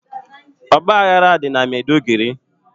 ọgbaghara dị na Meduguri.